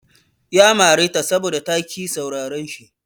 Ya mare ta saboda ta ƙi sauraran shi.